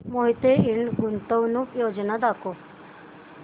मोहिते इंड गुंतवणूक योजना दाखव